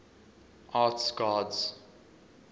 arts gods